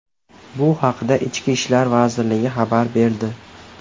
Bu haqda Ichki ishlar vazirligi xabar berdi .